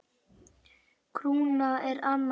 Krúna er annað mál.